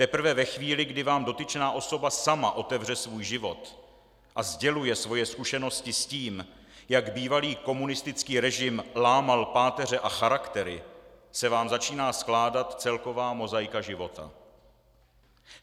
Teprve ve chvíli, kdy vám dotyčná osoba sama otevře svůj život a sděluje svoje zkušenosti s tím, jak bývalý komunistický režim lámal páteře a charaktery, se vám začíná skládat celková mozaika života.